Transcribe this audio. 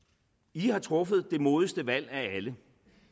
i har truffet det modigste valg af alle